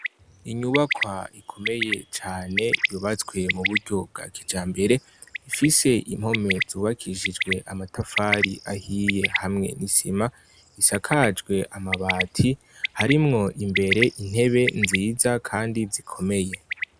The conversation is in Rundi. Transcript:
Inyubakwa ikomeye cane yubatswe mburyo bwa kijambere. Ifise impome zubakishijwe amatafari ahiye, hamwe n'isima. Isakajwe amabati. Harimwo imbere intebe nziza kandi zikomeye.